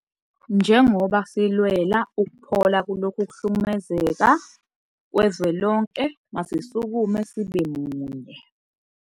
Njengobasilwela ukuphola kulokhu kuhlukumezeka kwezwelonke, masisukume sibe munye.